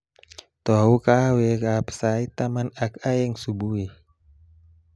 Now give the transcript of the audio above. Tou kahawekab sait taman ak aeng subui